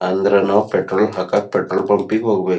ಅಂದ್ರೆ ನಾವು ಪೆಟ್ರೋಲ್ ಹಾಕಕ್ಕ ಪೆಟ್ರೋಲ್ ಪಂಪ್ ಗೆ ಹೋಗಬೇಕ.